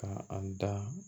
Ka a da